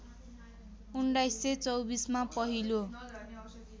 १९२४ मा पहिलो